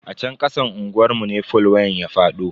A chan kasan unguwar mu ne fol wayan ya fado.